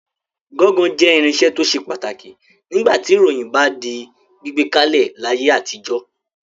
Gọ́ńgọ jẹ́ irinṣẹ́ tó ṣe pàtàkì nígbà tí ìròyìn bá ń di gbígbé kalẹ̀ láyé àtijọ́.